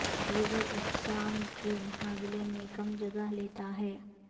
دیگر اقسام کے مقابلے میں کم جگہ لیتا ہے